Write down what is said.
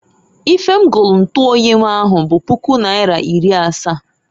Ife m golu ntuoyi m ahụ bụ puku naịra iri asa.